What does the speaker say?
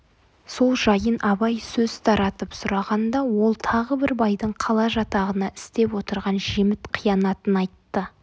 сол жайын абай сөз таратып сұрағанда ол тағы бір байдың қала жатағына істеп отырған жеміт қиянатын айтты